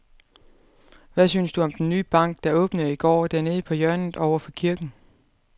Hvad synes du om den nye bank, der åbnede i går dernede på hjørnet over for kirken?